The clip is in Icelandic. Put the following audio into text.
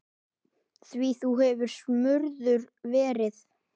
Því þú hefur smurður verið.